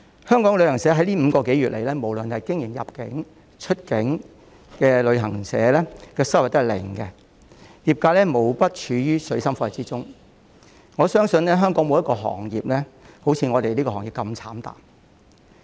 香港的旅行社在這5個多月來，無論是經營入境、出境的旅行社行業的收入均是零，業界無不處於水深火熱中，我相信香港沒有一個行業會如旅遊業界般慘淡。